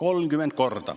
30 korda!